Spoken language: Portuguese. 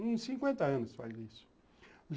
Uns cinquenta anos faz isso.